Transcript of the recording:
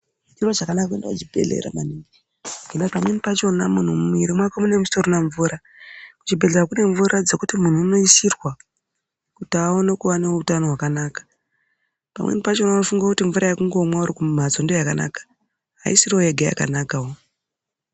Chiro chakanaka kuenda kuchibhedhlera maningi ngendaa pamweni pachona muntu mumwiri mwako munenge musitorina mvura, kuchibhedhlera kune mvura dzekuti muntu unoisirwa kuti aone kuva neutano hwakanaka pamweni pacho unofunga kuti mvura yekungomwa urikumhatso ndoyakanaka ayisiriyo yega yakanakawo.